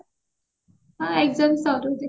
ହଁ exam ସାରୁ ଦେଖିବା